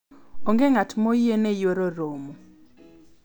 onge ng'at ma oyiene yuoro romo